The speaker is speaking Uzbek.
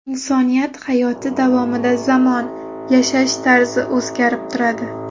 Inson hayoti davomida zamon, yashash tarzi o‘zgarib turadi.